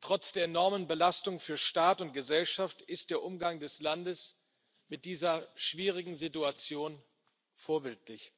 Trotz der enormen Belastung für Staat und Gesellschaft ist der Umgang des Landes mit dieser schwierigen Situation vorbildlich.